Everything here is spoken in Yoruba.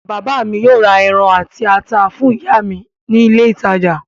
Bàbá mi yóò ra ẹran àti ata fún ìyá mi ní ilé-ìtajà.